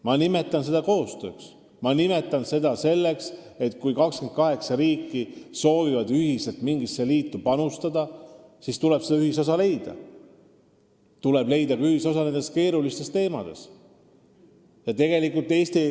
Ma nimetan seda koostööks, sest kui 28 riiki soovivad ühiselt mingisse liitu panustada, siis tuleb neil leida ühisosa, ja tuleb leida ühisosa ka nendes keerulistes küsimustes.